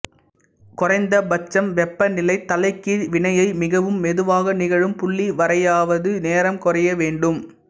குறைந்தபட்சம் வெப்பநிலை தலைகீழ் வினையை மிகவும் மெதுவாக நிகழும் புள்ளி வரையாவது நேரம் குறைய வேண்டும்